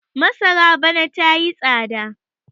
masara bana ta yi tsada